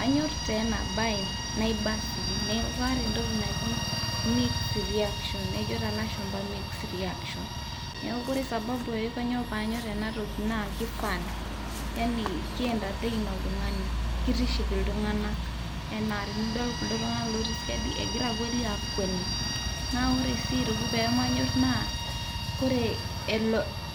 Aanyorr taa ena baye naiba sii, neeku kaata entoki naji mixed reaction ejo taa ilashumba mixed reaction, neeku ore sababu ajo kainyioo paanyorr ena toki naa ake fun yani ki entertain oltung'ani kitiship iltung'anak enaa tenidol kulo tung'anak ootii siadi egira kweli aakwani. Naa ore aitoki peemanyorr naa ore